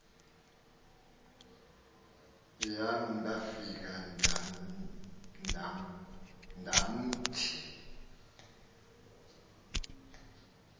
yam ndafika ndamthi